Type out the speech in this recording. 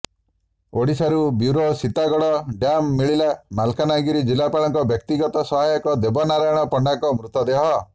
Odisha live bureau Satiguda ଡ୍ୟାମରୁ ମିଳିଲା ମାଲକାନଗିରି ଜିଲ୍ଲାପାଳଙ୍କ ବ୍ୟକ୍ତିଗତ ସହାୟକ ଦେବନାରାୟଣ ପଣ୍ଡାଙ୍କ ମୃତଦେହ